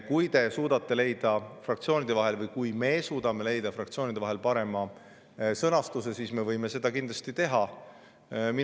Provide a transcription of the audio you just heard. Kui fraktsioonid suudavad leida parema sõnastuse, siis me võime seda kindlasti.